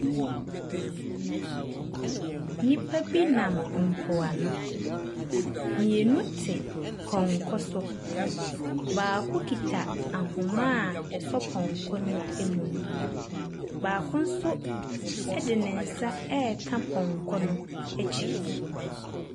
Nnipa bi nam mpoano, mmienu te pɔnkɔ so, baako kita ahoma a ɛsɔ pɔnkɔ ne mu no, baako nso de ne nsa ɛreka pɔnkɔ no akyi.